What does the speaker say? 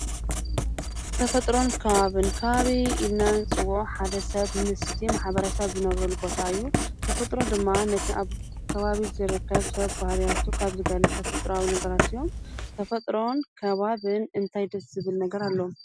'ተፈጥሮን ከባብን' ከባቢ ኢልና ንፅውዖ ሓደ ሰብ ምስቲ ማሕበረሰብ ዝነብረሉ ቦታ እዩ ተፈጥሮ ድማ ነቲ ኣብ ከባቢ ዝርከብ ሰብ ባህርያቱ ካብ ዝገልፅ ተፈጥራዊ ነገራት እዮ። ተፈጥሮን ከባብን እንታይ ደስ ዝብል ነገር ኣለዎም?